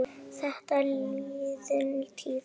Þetta er liðin tíð.